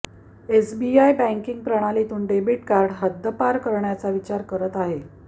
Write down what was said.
SBI बँकिग प्रणालीतून debit card हद्दपार करण्याचा विचार करत आहे